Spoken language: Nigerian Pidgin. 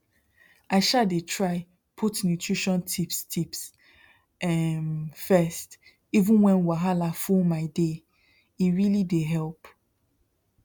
i um dey try put nutrition tips tips um first even when wahala full my daye really dey help